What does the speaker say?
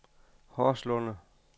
Horslunde